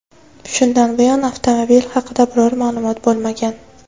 Shundan buyon avtomobil haqida biror ma’lumot bo‘lmagan.